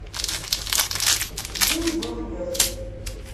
жил был пес